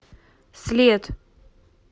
след